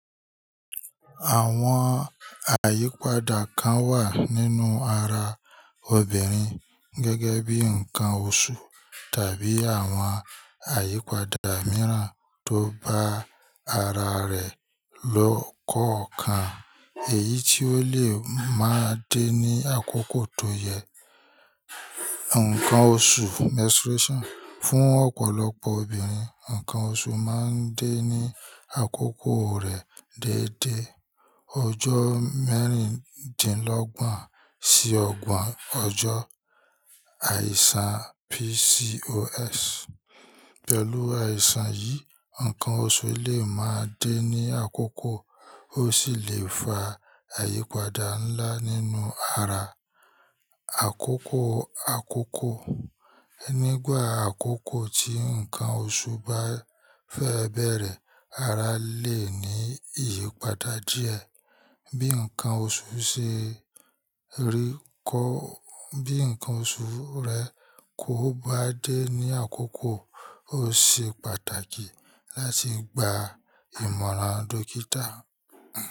Àwọn àyípadà kan wà nínú ara obìnrin gẹ́gẹ́ bí ǹkan oṣù tàbí àwọn àyípadà mìíràn tó bá ara rẹ̀ lọ́kankan. Èyí tí ó lè máa dé ní àkókò tó yẹ. Ǹkan oṣù, menstruation, fún ọ̀pọ̀lọpọ̀ obìnrin, ǹkan oṣù máa ń dé ní àkókò rẹ̀ déédé. Ọjọ́ mẹ́rìndínlọ́gbọ̀n sí ọgbọ̀n ọjọ́. Àìsàn PCOS. Pẹ̀lú àìsàn yìí, ǹkan oṣù lè máa dé ní àkókò ó sì lè fa àyípadà ńlá nínú ara. Àkókò àkókò. Nígbà àkókò tí ǹkan oṣù bá fẹ́ bẹ̀erẹ̀, ara lè ní ìyípadà díẹ̀. Bí ǹkan oṣù ṣe rí kọ́, bí ǹkan oṣù rẹ kò bá dé ní àkókò, ó ṣe pàtàkì láti gba ìmọ̀ràn dókítà.